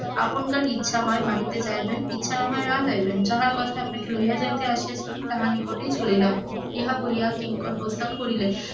আপনকার ইচ্ছা হয় বাটিতে যাইবেন না ইচ্ছা হয় না যাইবেন, যাহার কথায় আপনাকে লইয়া যাইতে আসিয়াছিলাম তাহার নিকটে চলিলাম ইহা বলিয়া কিঙ্কর প্রস্থান করিলেন,